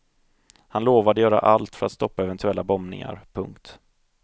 Han lovade göra allt för att stoppa eventuella bombningar. punkt